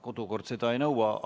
Kodukord seda ei nõua.